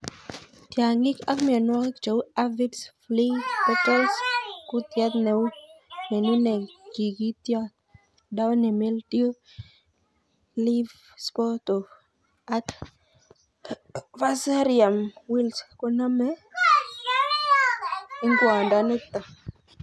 Tiong'ik ak mionwokik cheu aphids, flea beetles, kutiet nenune tikityot, downy mildew, leaf spot ak fusarium wilt konome ingwondoniton.